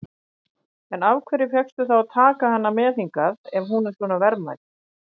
En af hverju fékkstu þá að taka hana með hingað, ef hún er svona verðmæt?